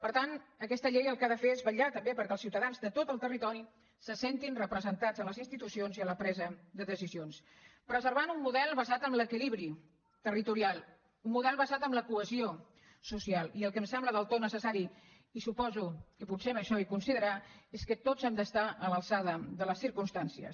per tant aquesta llei el que ha de fer és vetllar també perquè els ciutadans de tot el territori se sentin representats en les institucions i en la presa de decisions preservant un model basat en l’equilibri territorial un model basat en la cohesió social i el que em sembla del tot necessari i suposo que potser per això hi coincidirà és que tots hem d’estar a l’alçada de les circumstàncies